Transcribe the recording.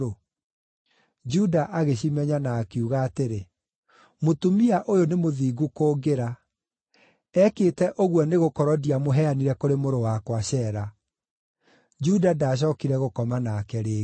Juda agĩcimenya, na akiuga atĩrĩ, “Mũtumia ũyũ nĩ mũthingu kũngĩra; ekĩte ũguo nĩgũkorwo ndiamũheanire kũrĩ mũrũ wakwa Shela.” Juda ndaacookire gũkoma nake rĩngĩ.